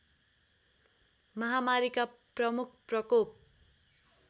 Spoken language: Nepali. महामारीका प्रमुख प्रकोप